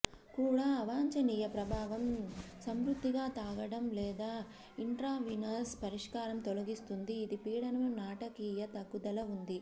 కూడా అవాంఛనీయ ప్రభావం సమృద్ధిగా తాగడం లేదా ఇంట్రావీనస్ పరిష్కారం తొలగిస్తుంది ఇది పీడనం నాటకీయ తగ్గుదల ఉంది